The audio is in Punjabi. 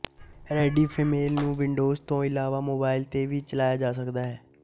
ਰੈਡਿਫ਼ਮੇਲ ਨੂੰ ਵਿੰਡੋਜ਼ ਤੋਂ ਇਲਾਵਾ ਮੋਬਾਈਲ ਤੇ ਵੀ ਚਲਾਇਆ ਜਾ ਸਕਦਾ ਹੈ